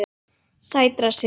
Sætra synda.